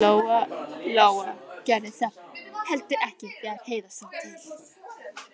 Og Lóa Lóa gerði það heldur ekki þegar Heiða sá til.